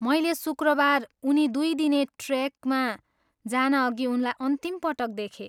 मैले शुक्रबार उनी दुई दिने ट्रेकमा जानअघि उनलाई अन्तिम पटक देखेँ।